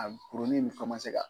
A kurunin ni fɛn ma se ka